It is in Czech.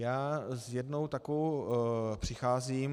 Já s jednou takovou přicházím.